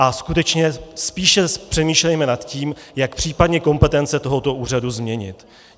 A skutečně spíše přemýšlejme nad tím, jak případně kompetence tohoto úřadu změnit.